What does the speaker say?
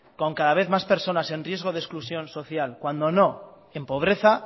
con cada vez más personas en riesgo de exclusión social cuando no en pobreza